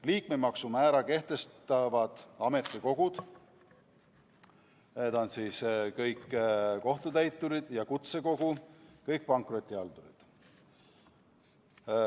Liikmemaksu määra kehtestavad ametikogu – need on kõik kohtutäiturid – ja kutsekogu – kõik pankrotihaldurid.